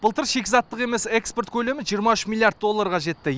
былтыр шикізаттық емес экспорт көлемі жиырма үш миллиард долларға жетті